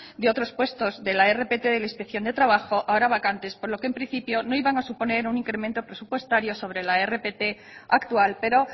de otros puestos de la rpt de la inspección de trabajo ahora vacantes por lo que en principio no iban a suponer un incremento presupuestario sobre la rpt actual pero